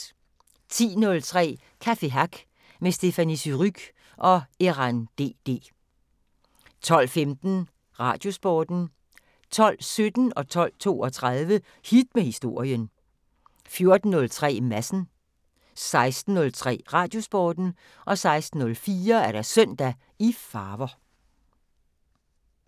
10:03: Café Hack med Stephanie Surrugue og Erann DD 12:15: Radiosporten 12:17: Hit med Historien 12:32: Hit med Historien 14:03: Madsen 16:03: Radiosporten 16:04: Søndag i farver